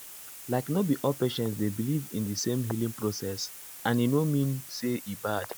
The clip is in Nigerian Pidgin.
like no be all patients dey believe in the same healing process and e no mean say e bad.